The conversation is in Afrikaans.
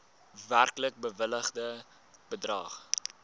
werklik bewilligde bedrag